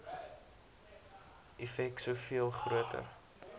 effek soveel groter